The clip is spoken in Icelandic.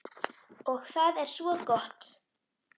Og það er svo gott.